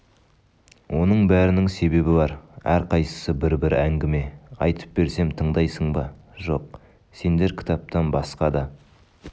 оның бәрінің себебі бар әрқайсысы бір-бір әңгіме айтып берсем тыңдайсың ба жоқ сеңдер кітаптан басқа да